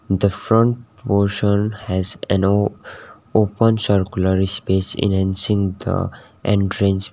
the front portion has an o open circular space enhancing the entrance vi --